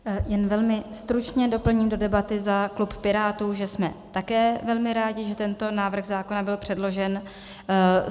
Jen velmi stručně doplním do debaty za klub Pirátů, že jsme také velmi rádi, že tento návrh zákona byl předložen.